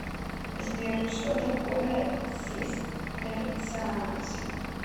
сбер что такое цистерцианцы